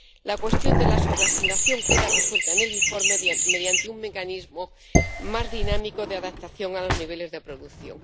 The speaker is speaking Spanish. La cuestión de la sobreasignación queda resuelta en el informe mediante un mecanismo más dinámico de adaptación a los niveles de producción.